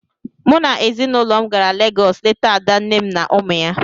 Mụ na ezinụlọ m gara Legọs leta ada nne m na ụmụ ya.